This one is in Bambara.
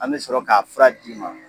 An bi sɔrɔ k'a fura d'i ma